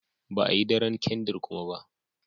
Ba a Yi daren kandir kuma ba.